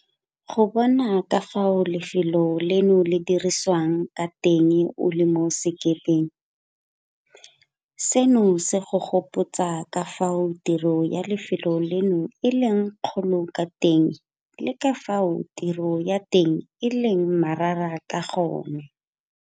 Go bona ka fao lefelo leno le dirisiwang ka teng o le mo sekepeng, seno se go gopotsa ka fao tiro ya lefelo leno e leng e kgolo ka teng le ka fao tiro ya teng e leng marara ka gone.